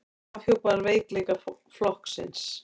Afhjúpar veikleika flokksins